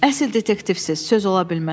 Əsl detektivsiz, söz ola bilməz.